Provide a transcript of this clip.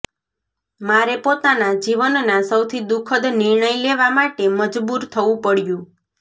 મારે પોતાના જીવનના સૌથી દુઃખદ નિર્ણય લેવા માટે મજબૂર થવું પડયું